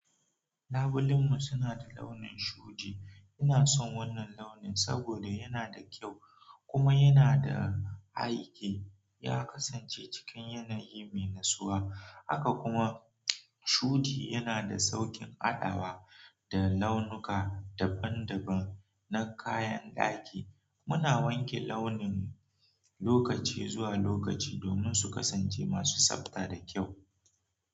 Labulen mu suna da launin shudi. Ina son wannan launin saboda yana da kyau kuma yana da aiki. Ya kasance cikin yanayi mai natsuwa, haka kuma shudi yana da sauƙin adawa da launuka daban-daban na kayan daki. Muna wanke launin mun lokaci zuwa lokaci domin su kasance masu tsapta da kyau.